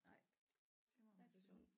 Nej det må man sige